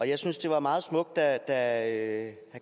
jeg synes det var meget smukt da herre